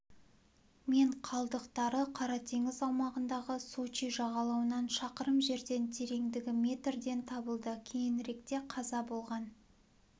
мен қалдықтары қара теңіз аумағындағы сочи жағалауынан шақырым жерден тереңдігі метрден табылды кейініректе қаза болған